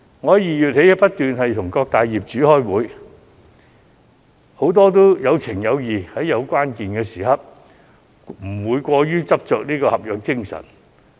我自2月起不斷與各大業主開會，很多業主也有情有義，在關鍵時刻不會過於執着合約條款。